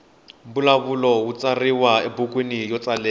mbulavulo wu tsariwa ebukwini yo tsalela